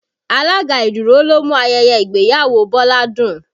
Alága ìdúró ló mú ayẹyẹ ìgbéyàwó Bọlá dùn